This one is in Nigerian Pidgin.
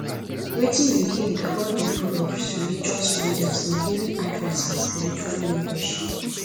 wetin you think about di role of religious leaders in giving advice and spiritual mentorship